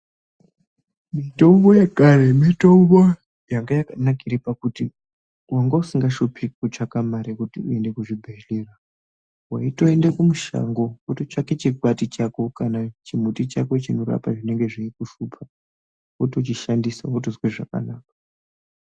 Mitombo yekare mitombo yanga yakanakira pakuti wanga usingashupiki kutsvaga mare kuti uende zvibhedhlera. Waitoende kumushango wototsvage chikwati chako kana chimuti chako chinorapa zvinenge zveikushupa wotochishandisa wozozwe zvakanaka